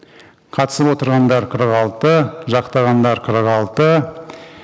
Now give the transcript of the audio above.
қатысып отырғандар қырық алты жақтағандар қырық алты